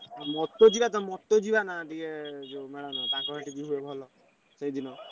ଯିବା ନା ଟିକେ ଯୋଉ ମେଳଣ ତାଙ୍କର ସେଠି ଭଲ ହୁଏ ଯିବା।